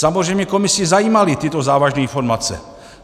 Samozřejmě komisi zajímaly tyto závažný formace.